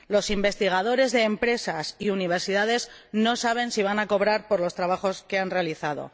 Los investigadores de empresas y universidades no saben si van a cobrar por los trabajos que han realizado.